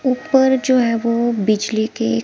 ऊपर जो है वो बिजली के--